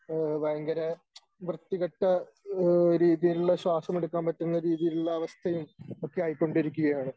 ഏഹ് വയങ്കര വൃത്തികെട്ട ഏഹ് രീതിയിലുള്ള ശ്വാസം എടുക്കാൻ പറ്റുന്ന രീതിയിലുള്ള അവസ്ഥയും ഒക്കെയായികൊണ്ടിരിക്കുകയാണ്.